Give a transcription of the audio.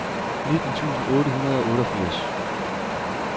nitten tusind otte hundrede og otteogfirs